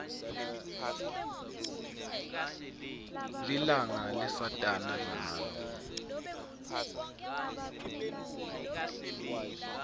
lilanga lesatana ngalo